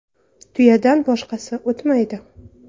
Tuyadan boshqasi o‘tmaydi.